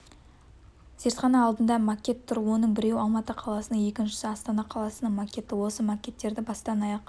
зертхана алдында макет тұр оның біреуі алматы қаласының екіншісі астана қаласының макеті осы макеттерді бастан-аяқ